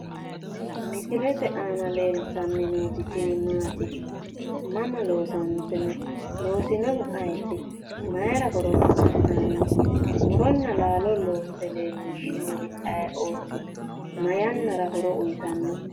Misilete aana leeltanni nooti tini maati mama loosantino? loosinohu ayeeti? maayiira horonsi'nanni? muronna laalo loosse leellishinori ayeeooti? ma yannara horo uuyiitanno?